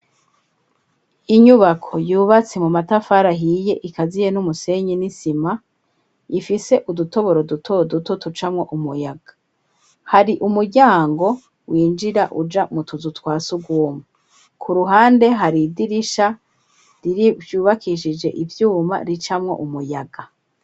Inyubako yubatse mu matafari hiye ikaziye n'umusenyi n'isima ifise udutoboro duto duto tucamwo umuyaga hari umujyango winjira uja mu tuzu twasuguomo ku ruhande hari idirisha rirbyubakishije ibyuma ricamwo umuyaga.